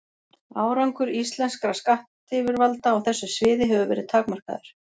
Árangur íslenskra skattyfirvalda á þessu sviði hefur verið takmarkaður.